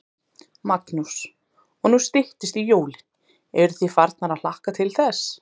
Magnús: Og nú styttist í jólin, eruð þið farnir að hlakka til þess?